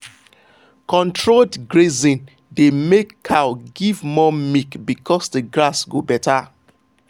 controlled grazing dey make cow give more milk because the grass go better.